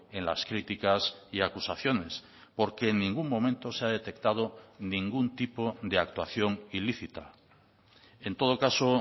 en las críticas y acusaciones porque en ningún momento se ha detectado ningún tipo de actuación ilícita en todo caso